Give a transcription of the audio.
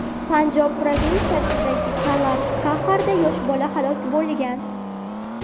Panjob provinsiyasidagi Kallar Kaxarda yosh bola halok bo‘lgan.